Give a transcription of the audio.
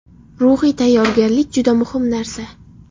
Ruhiy tayyorgarlik juda muhim narsa.